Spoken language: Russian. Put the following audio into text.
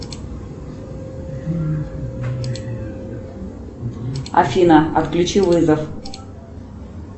афина отключи вызов